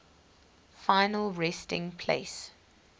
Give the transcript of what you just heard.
final resting place